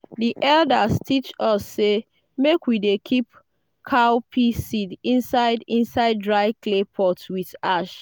the elders teach us say make we dey keep cowpea seeds inside inside dry clay pot with ash.